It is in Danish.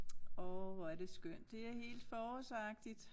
Åh hvor er det skønt det er helt forårsagtigt